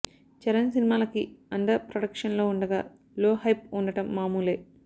చరణ్ సినిమాలకి అండర్ ప్రొడక్షన్లో ఉండగా లో హైప్ ఉండడం మామూలే